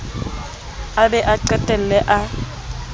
a be a qetelle a